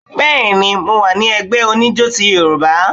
Béèni, mo wà ní ẹgbẹ oníjo ti yorùbá